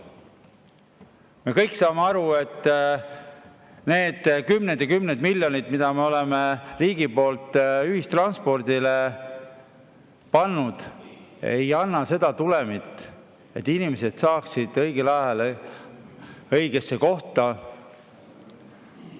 Me kõik saame aru, et need kümned ja kümned miljonid, mis me oleme riigi poolt ühistransporti pannud, ei anna seda tulemit, et inimesed saaksid õigel ajal õigesse kohta.